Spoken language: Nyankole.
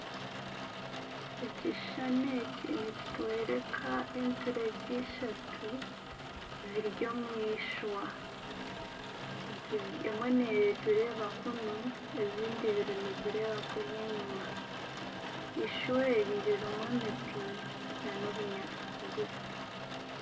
Ekishushani eki nikitworeka eturegye eishatu ziri omu ishwa emwe neetureeba kunu ezindi ibiri nizireeba kuri enyuma, ishwa eri ririmu emiti nana obunyaatsi bugufu